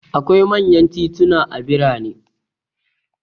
Akwai manyan tituna a birane.